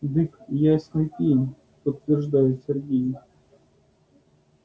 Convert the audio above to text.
дык ясный пень подтверждает сергей